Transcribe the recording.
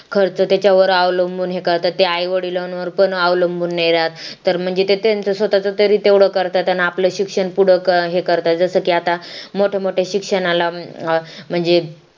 खर्च त्याच्यावर अवलंबून हे करतात ते आई-वडिलांवर पण अवलंबून नाही राहत तर म्हणजे त्यांचा स्वतःचा तरी तेवढं करता त्यांना आपल्या शिक्षण पुढं हे करता जसा कि आता मोठे मोठे शिक्षणाला म्हणजे